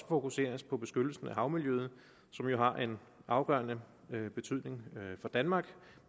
fokuseres på beskyttelse af havmiljøet som jo har en afgørende betydning for danmark